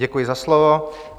Děkuji za slovo.